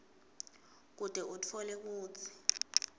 kute utfole kutsi